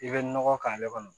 I bɛ nɔgɔ k'ale kɔnɔ